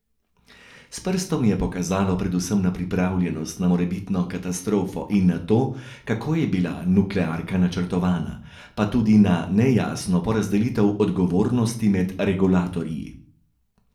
S prstom je pokazalo predvsem na pripravljenost na morebitno katastrofo in na to, kako je bila nuklearka načrtovana, pa tudi na nejasno porazdelitev odgovornosti med regulatorji.